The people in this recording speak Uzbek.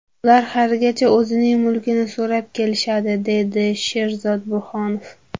Ular haligacha o‘zining mulkini so‘rab kelishadi, deydi Sherzod Burhonov.